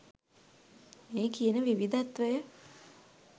මේ කියන විවිධත්වය